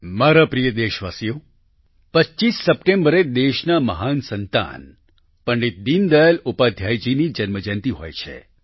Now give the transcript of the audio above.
મારા પ્રિય દેશવાસીઓ 25 સપ્ટેમ્બરે દેશના મહાન સંતાન પંડિત દીનદયાલ ઉપાધ્યાય જીની જન્મજયંતિ હોય છે